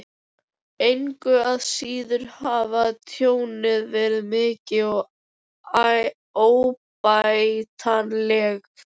Engu að síður hefur tjónið verið mikið og óbætanlegt.